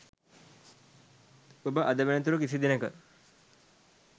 ඔබ අද වෙනතුරු කිසිදිනක